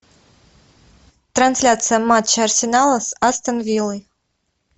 трансляция матча арсенала с астон виллой